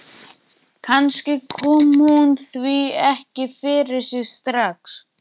Kannski kom hún því ekki fyrir sig strax.